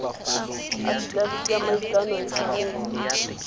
afitafiti ya maikano e tshwanetse